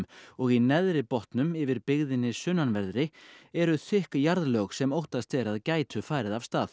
og í Neðri botnum yfir byggðinni sunnanverðri eru þykk jarðlög sem óttast er að gætu farið af stað